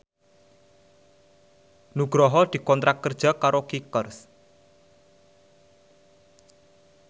Nugroho dikontrak kerja karo Kickers